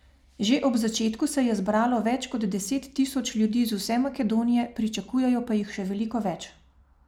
Že ob začetku se je zbralo več kot deset tisoč ljudi iz vse Makedonije, pričakujejo pa jih še veliko več.